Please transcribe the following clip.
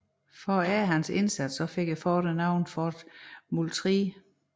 For at ære hans indsats fik fortet navnet Fort Moultrie